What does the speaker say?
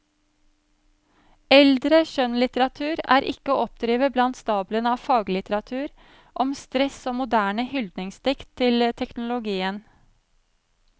Eldre skjønnlitteratur er ikke å oppdrive blant stablene av faglitteratur om stress og moderne hyldningsdikt til teknologien.